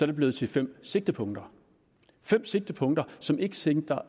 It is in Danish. det blevet til fem sigtepunkter fem sigtepunkter som ikke sigter